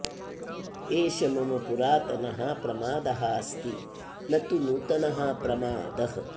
एषः मम पुरातनः प्रमादः अस्ति न तु नूतनः प्रमादः